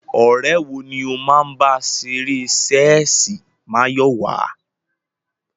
Ọ̀rẹ́ wo ni ó máa ń bá ṣeré ṣẹ́ẹ̀sì, Máyọ̀wá?